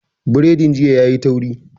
Biredin jiya yayi tauri